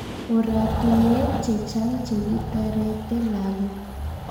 oratunwek chechang chekitarete lagok